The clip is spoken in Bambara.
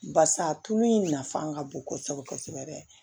Barisa a tulu in nafa ka bon kosɛbɛ kosɛbɛ